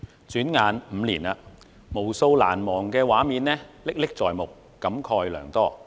轉眼5年了，無數難忘的畫面歷歷在目，使我感慨良多。